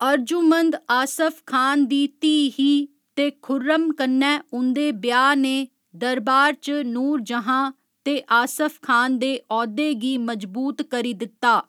अर्जुमंद आसफ खान दी धीऽ ही ते खुर्रम कन्नै उं'दे ब्याह् ने दरबार च नूरजहाँ ते आसफ खान दे औह्दे गी मजबूत करी दित्ता।